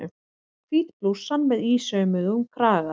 Hvít blússan með ísaumuðum kraga.